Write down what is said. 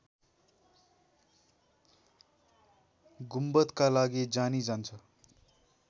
गुम्बदका लागि जानी जान्छ